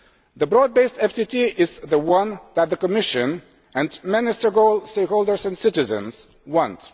The broad based FTT is the one that the Commission and many stakeholders and citizens want.